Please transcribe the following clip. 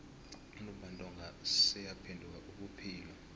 untumbantonga seyaphenduka ubuphilo